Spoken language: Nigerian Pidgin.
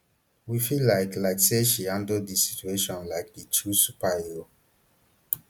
we feel like like say she handle di situation like di true superhero